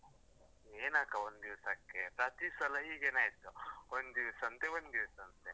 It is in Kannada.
ಏನ್ ಅಕ್ಕ ಒಂದ್ದಿವ್ಸಕ್ಕೆ, ಪ್ರತೀಸಲ ಹೀಗೇನೆ ಆಯ್ತು. ಒಂದಿವ್ಸಂತೆ, ಒಂದಿವ್ಸಂತೆ.